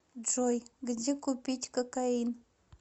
джой где купить кокаин